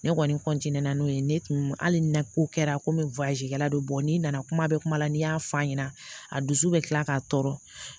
Ne kɔni n'o ye ne tun hali ni ko kɛra komi kɛla don n'i nana kuma bɛ kuma la n'i y'a fɔ a ɲɛna a dusu bɛ kila k'a tɔɔrɔ